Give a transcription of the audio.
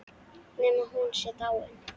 Nema hún sé dáin.